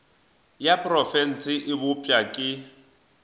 ya profense e bopša ke